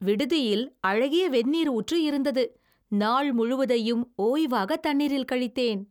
விடுதியில் அழகிய வெந்நீர் ஊற்று இருந்தது. நாள் முழுவதையும் ஓய்வாக தண்ணீரில் கழித்தேன்.